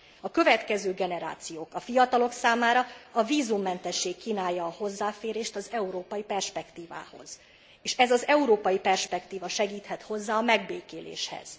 A következő generációk, a fiatalok számára a vízummentesség kínálja a hozzáférést az európai perspektívához, és ez az európai perspektíva segíthet hozzá a megbékéléshez.